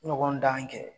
Ɲɔgɔn dan kɛ